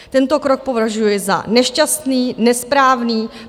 Tento krok považuji za nešťastný, nesprávný.